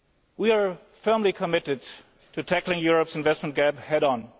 We are firmly committed to tackling Europe's investment gap head on.